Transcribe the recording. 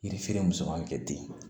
Yiri feere mɔn bɛ kɛ den na